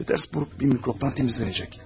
Piterburq bir mikrobtdan təmizlənəcək.